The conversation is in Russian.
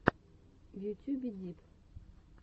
в ютюбе дип